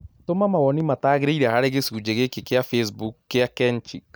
tũma mawoni mataagĩrĩire harĩ gĩcunjĩ gĩkĩ kĩa facebook kĩa kenchic